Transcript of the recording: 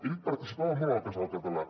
ell participava molt al casal català